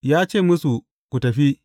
Ya ce musu, Ku tafi!